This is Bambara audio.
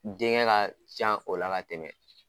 Den kɛ ka ca o la ka tɛmɛ